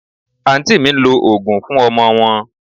Aunty mi ń lo òógùn fún ọmọ wọn